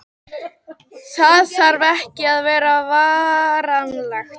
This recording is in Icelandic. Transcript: það þarf ekki að vera varanlegt